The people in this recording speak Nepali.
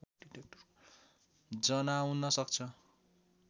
जनाउन सक्छ